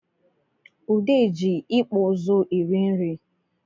Ude ji ịkpụịzụ eri nri